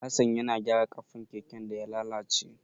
Hassan ya gyara ƙafan keken da ya lalace.